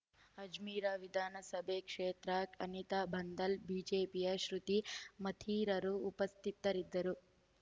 ಅಜ್ಮಿರ್ ವಿಧಾನಸಭಾ ಕ್ಷೇತ್ರ ಅನಿತಾ ಬಾಂದಲ್ ಬಿಜೆಪಿಯ ಶೃತಿ ಮತ್ತಿರರು ಉಪಸ್ಥಿತರಿದ್ದರು